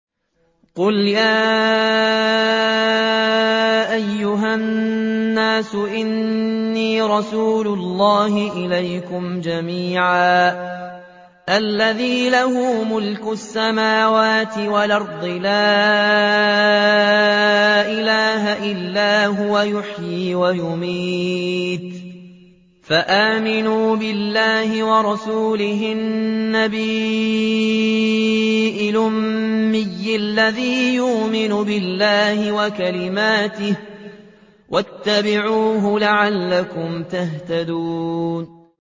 قُلْ يَا أَيُّهَا النَّاسُ إِنِّي رَسُولُ اللَّهِ إِلَيْكُمْ جَمِيعًا الَّذِي لَهُ مُلْكُ السَّمَاوَاتِ وَالْأَرْضِ ۖ لَا إِلَٰهَ إِلَّا هُوَ يُحْيِي وَيُمِيتُ ۖ فَآمِنُوا بِاللَّهِ وَرَسُولِهِ النَّبِيِّ الْأُمِّيِّ الَّذِي يُؤْمِنُ بِاللَّهِ وَكَلِمَاتِهِ وَاتَّبِعُوهُ لَعَلَّكُمْ تَهْتَدُونَ